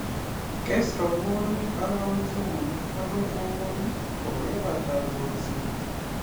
Kes robwonik arawek somok agoi ang'wan kokebata kolset